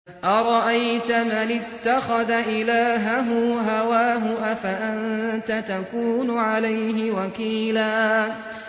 أَرَأَيْتَ مَنِ اتَّخَذَ إِلَٰهَهُ هَوَاهُ أَفَأَنتَ تَكُونُ عَلَيْهِ وَكِيلًا